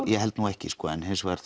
ég held nú ekki en hins vegar